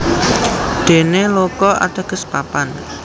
Dene Loka ateges papan